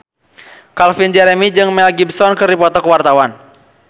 Calvin Jeremy jeung Mel Gibson keur dipoto ku wartawan